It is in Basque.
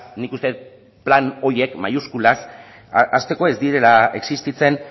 nik uste dut plan horiek maiuskulaz hasteko ez direla existitzen